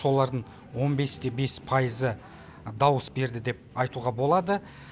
солардың он бес те бес пайызы дауыс берді деп айтуға болады